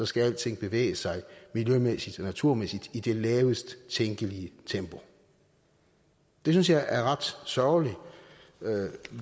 skal alting bevæge sig miljømæssigt og naturmæssigt i det lavest tænkelige tempo det synes jeg er ret sørgeligt